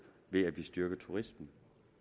ved at vi styrker turismen